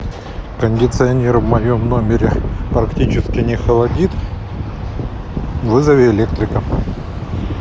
кондиционер в моем номере практически не холодит вызови электрика